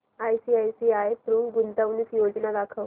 ICICI Pru गुंतवणूक योजना दाखव